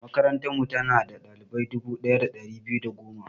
Makarantarmu, tana da ɗalibai dubu ɗaya da ɗari biyu da goma.